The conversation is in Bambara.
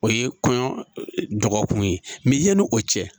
O ye kɔɲɔn dɔgɔkun ye yani o cɛ.